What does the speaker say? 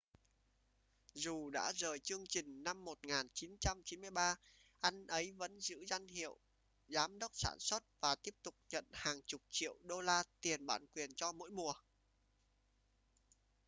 dù đã rời chương trình năm 1993 anh ấy vẫn giữ danh hiệu giám đốc sản xuất và tiếp tục nhận hàng chục triệu đô la tiền bản quyền cho mỗi mùa